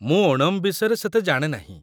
ମୁଁ ଓଣମ୍ ବିଷୟରେ ସେତେ ଜାଣେ ନାହିଁ ।